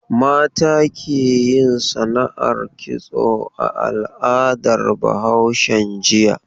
Mata ke yin sana'ar kitso a al'adar Bahaushen jiya.